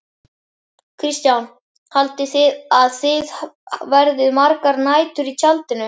Kristján: Haldið þið að þið verðið margar nætur í tjaldinu?